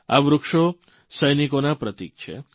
આ વૃક્ષો સૈનિકોના પ્રતિક છે